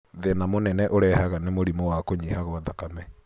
Thĩna mũnene ũrehaga nĩ mũrimũ wa kũnyiha kwa thakame.